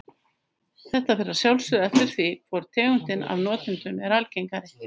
Þetta fer að sjálfsögðu eftir því hvor tegundin af notendunum er algengari.